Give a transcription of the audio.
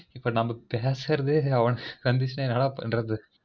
இப்ப நாம்ம பேசுறதே அவன கண்டீச்சு என்ன பண்றது